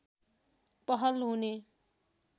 पहल हुने